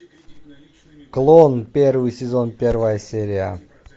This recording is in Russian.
клон первый сезон первая серия